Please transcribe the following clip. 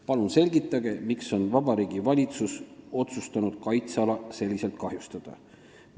Palun selgitage, miks on Vabariigi Valitsus otsustanud kaitseala selliselt kahjustada?